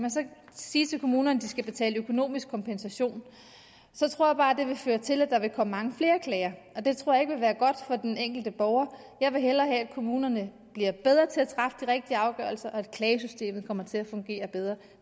sige til kommunerne at de skal betale økonomisk kompensation så tror jeg bare det vil føre til at der vil komme mange flere klager og det tror jeg ikke vil være godt for den enkelte borger jeg vil hellere have at kommunerne bliver bedre til at træffe de rigtige afgørelser og at klagesystemet kommer til at fungere bedre